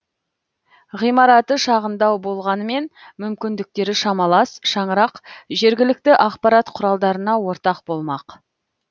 ғимараты шағындау болғанмен мүмкіндіктері шамалас шаңырақ жергілікті ақпарат құралдарына ортақ болмақ